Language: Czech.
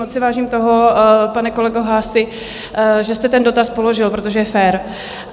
Moc si vážím toho, pane kolego Haasi, že jste ten dotaz položil, protože je fér.